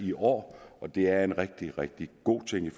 i år og det er en rigtig rigtig god ting i